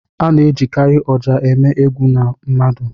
A na-ejikarị ọjà eme egwu ndị mmadụ.